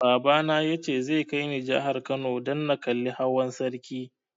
Baba na ya ce zai kai ni jihar Kano dan na kalli hawan sarki